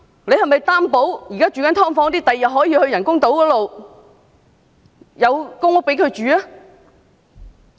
政府是否擔保現時居於"劏房"的市民日後可遷到人工島的公屋居住？